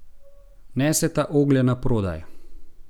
Neseta oglje naprodaj.